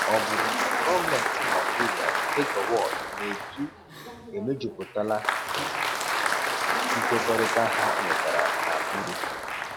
Ọ bụrụ na gọọmentị Naijiria nke Gowon na-edu emejuputala nkwekọrịta ha nwetara na Aburi?